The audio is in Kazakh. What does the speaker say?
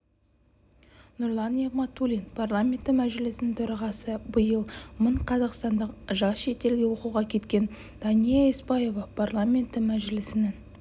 нұрлан нығматулин парламенті мәжілісінің төрағасы биыл мың қазақстандық жас шетелге оқуға кеткен дания еспаева парламенті мәжілісінің